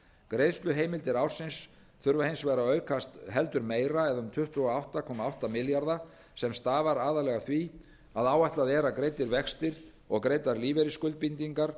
greiðsluheimildir ársins þurfa hins vegar að aukast heldur meira eða um tuttugu og átta komma átta milljarða króna sem stafar aðallega af því að áætlað er að greiddir vextir og greiddar lífeyrisskuldbindingar